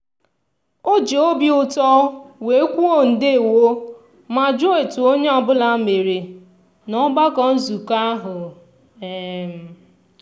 o ji obi ụtọ wee kwuo "ndewo" ma jụọ etu onye ọbụla mere n'ọgbakọ nzukọta ahụ. um